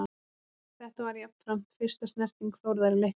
Þetta var jafnframt fyrsta snerting Þórðar í leiknum.